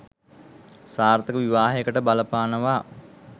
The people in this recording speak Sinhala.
සාර්ථක විවාහයකට බලපානවා.